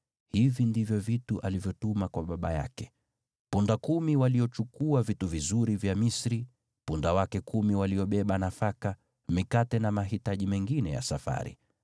Hivi ndivyo vitu alivyotuma kwa baba yake: punda kumi waliochukua vitu vizuri vya Misri, punda wake kumi waliobeba nafaka, mikate na mahitaji mengine ya safari.